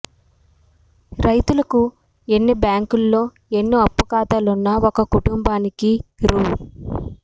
రైతులకు ఎన్ని బ్యాంకుల్లో ఎన్ని అప్పు ఖాతాలున్నా ఒక కుటుంబానికి రూ